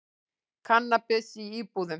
Kannabis í íbúðum